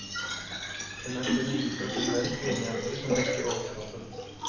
Hun er kun iført en mørk vindjakke som dekker overkroppen.